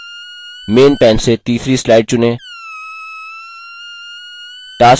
main main से तीसरी slide चुनें